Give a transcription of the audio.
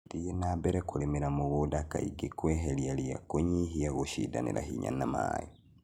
Thiĩ na mbere na kũrĩmĩra mũgũnda kaingĩ kweheria ria kũnyihia gũshindanĩra hinya na maĩĩ